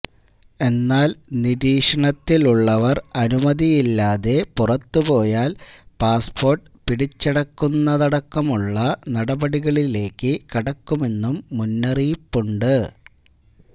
എന്നാല് നിരീക്ഷണത്തിലുള്ളവർ അനുമതിയില്ലാതെ പുറത്തുപോയാല് പാസ്പോർട്ട് പിടിച്ചെടക്കുന്നതടക്കമുള്ള നടപടികളിലേക്ക് കടക്കുമെന്നും മുന്നറിയിപ്പുണ്ട്